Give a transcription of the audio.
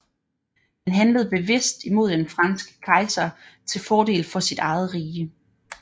Han handlede bevidst imod den franske kejser til fordel for sit eget rige